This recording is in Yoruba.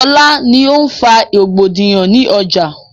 Ṣọlá ni o ń fa rògbòdìyàn ni ọjà